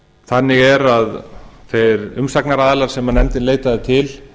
þannig er að þeir umsagnaraðilar sem nefndin leitaði til